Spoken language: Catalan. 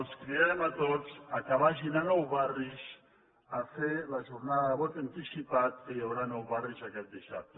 els cridem a tots que vagin a nou barris a fer la jornada de vot anticipat que hi haurà a nou barris aquest dissabte